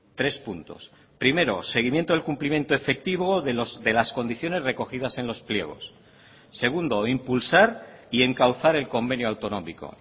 tres puntos primero seguimiento del cumplimiento efectivo de las condiciones recogidas en los pliegos segundo impulsar y encauzar el convenio autonómico